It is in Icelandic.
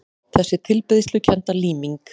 Þessi tilbeiðslukennda líming